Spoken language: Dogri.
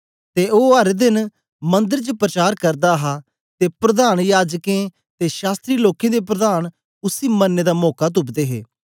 ते ओ हर देन मंदर च प्रचार करदा हा ते प्रधान याजकें ते शास्त्री लोकें दे प्रधान उसी मरने दा मौका तुपदे हे